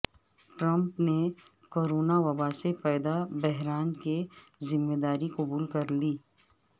Trump نے corona وبا سے پیدا بحران کی ذمہ داری قبول کر لی